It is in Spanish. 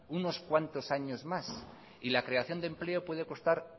unos cuantos años más y la creación de empleo puede costar